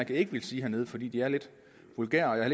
ikke ville sige hernede for de er lidt vulgære og jeg